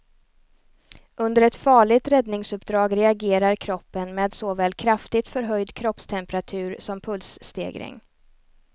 Under ett farligt räddningsuppdrag reagerar kroppen med såväl kraftigt förhöjd kroppstemperatur som pulsstegring.